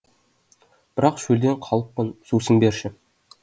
бірақ шөлдеп қалыппын сусын берші